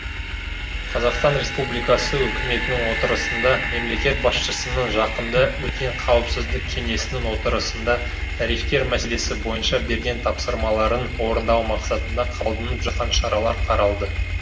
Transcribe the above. қазақстан республикасы үкіметінің отырысында мемлекет басшысының жақында өткен қауіпсіздік кеңесінің отырысында тарифтер мәселесі бойынша берген тапсырмаларын орындау мақсатында қабылдынып жатқан шаралар қаралды